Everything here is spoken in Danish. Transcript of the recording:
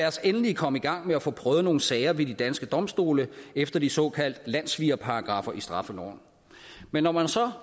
os endelig komme i gang med at få prøvet nogle sager ved de danske domstole efter de såkaldte landssvigerparagraffer i straffeloven men når man så